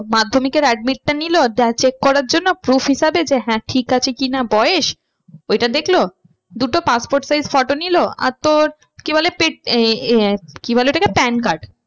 মাধ্যমিকের admit টা নিলো check করার জন্য proof হিসাবে যে হ্যাঁ ঠিক আছে কি না বয়েস। ওইটা দেখলো। দুটো passport size photo নিলো আর তোর কি বলে কি বলে ওটাকে PAN card